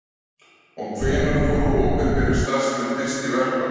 Og hvenær fóru opinberir starfsmenn fyrst í verkfall?